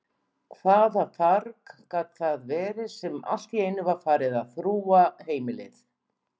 Hvaða farg gat það verið sem alltíeinu var farið að þrúga heimilið?